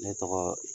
Ne tɔgɔ